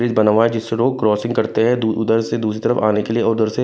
bridge बना हुआ है जिससे लोग क्रॉसिंग करते हैं उधर से दूसरी तरफ आने के लिए उधर से--